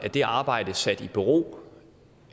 det arbejde sat i bero